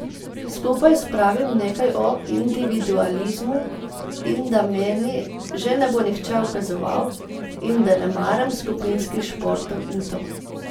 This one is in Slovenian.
Skupaj spravim nekaj o individualizmu in da meni že ne bo nihče ukazoval in da ne maram skupinskih športov in to.